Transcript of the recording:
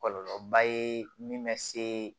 Kɔlɔlɔba ye min bɛ se